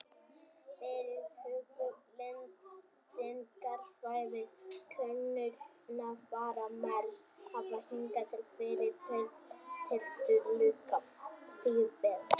Fyrirhuguð lendingarsvæði könnunarfara á Mars hafa hingað til verið tiltölulega víðfeðm.